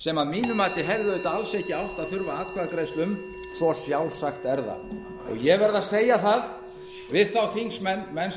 sem að mínu mati hefði auðvitað alls ekki átt að þurfa atkvæðagreiðslu um svo sjálfsagt er það ég verð að segja við þá þingmenn sem